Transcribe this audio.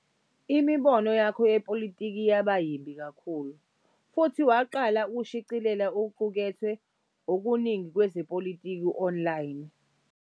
Imibono yakhe yezepolitiki yaba yimbi kakhulu, futhi waqala ukushicilela okuqukethwe okuningi kwezepolitiki online.